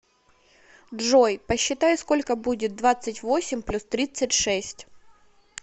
джой посчитай сколько будет двадцать восемь плюс тридцать шесть